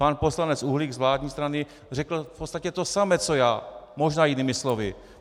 Pan poslanec Uhlík z vládní strany řekl v podstatě to samé co já, možná jinými slovy.